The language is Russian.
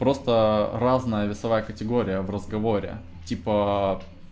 просто разная весовая категория в разговоре типа